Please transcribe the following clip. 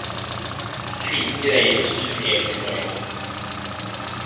Kvinnen greier å snu hele situasjonen.